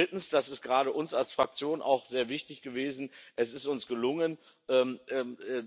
Und drittens das ist gerade uns als Fraktion auch sehr wichtig gewesen Es ist uns gelungen,